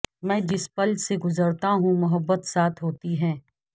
میں جس پل سے گزرتا ہوں محبت ساتھ ہوتی ہے